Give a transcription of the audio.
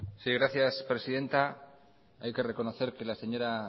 sí gracias presidenta hay que reconocer que la señora